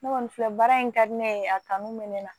Ne kɔni filɛ baara in ka di ne ye a kanu bɛ ne na